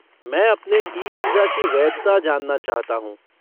मैं अपने e visa की वैधता जानना चाहता हूँ।